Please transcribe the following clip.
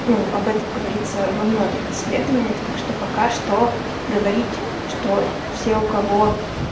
ну об этом говорится во многих исследованиях так что пока что говорить что те у кого